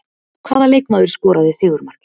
Hvaða leikmaður skoraði sigurmarkið?